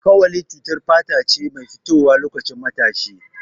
Kawali cutar fata ce mai fitowa loƙacin matashi.